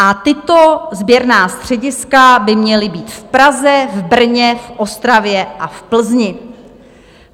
A tato sběrná střediska by měla být v Praze, v Brně, v Ostravě a v Plzni.